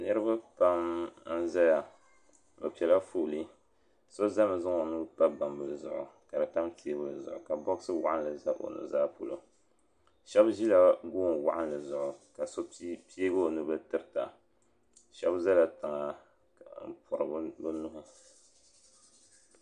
Niriba pam n zaya be pɛla foli so zami n zaŋ o nuu pa gbambili zuɣu kadi tam teebuli zuɣu ka boɣasi waɣali za o nuzaa polo shɛb ʒila goon waɣinli zuɣu ka do piɛ o nubil n tirita shɛbi zɛla tiŋa n kpuɣi bi nuhi.